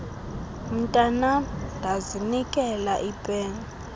mntanam ndazinikela ipeni